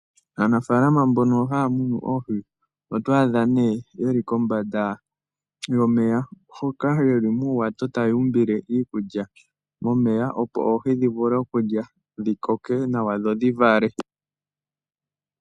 Aanafaalama mbono haya munu oohi oto adha nee yeli kombanda yomeya hoka yeli muuwato taya u mbile iikulya momeya opo oohi dhi vule okulya dhi koke nawa dho dhi vale.